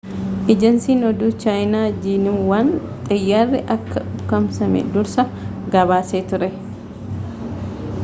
ejansiin oduu chaayinaa jiinuwaan xiyyaarri akka ukkaamsame dursa gabaasee ture